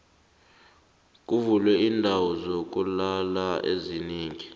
kuvulwe iindawo zokulala ezinengi